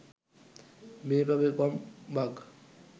মেয়ে পাবে কম ভাগ